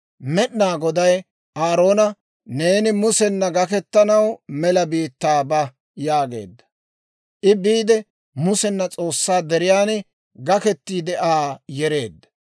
Med'inaa Goday Aaroona, «Neeni Musena gaketanaw mela biittaa ba» yaageedda. I biide, Musena S'oossaa deriyaan gakettiide Aa yereedda.